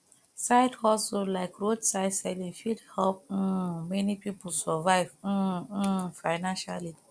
side hustle like roadside selling fit help um many pipo survive um um financially